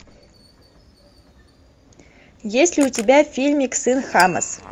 есть ли у тебя фильмик сын хамас